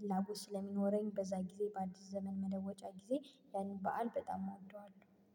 ፍላጎት ስለሚኖረኝ በዛ ጊዜ በአዲስ ዘመን መለወጫ ጊዜ ያንን በዓል በጣም እወደዋለሁ